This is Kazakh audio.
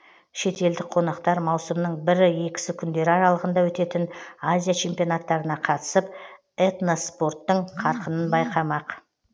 шетелдік қонақтар маусымның бірі екісі күндері аралығында өтетін азия чемпионаттарына қатысып этноспорттың қарқынын байқамақ